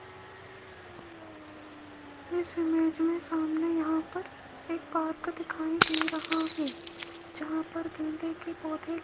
इस इमेज में सामने यहां पर एक पार्क दिखाई दे रहा है जहां पर गेंदे के पौधे --